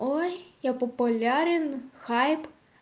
ой я популярен в хайп